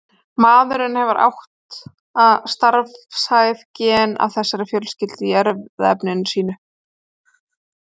Maðurinn hefur átta starfhæf gen af þessari fjölskyldu í erfðaefni sínu.